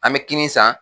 An bɛ kinin san